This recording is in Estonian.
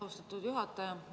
Austatud juhataja!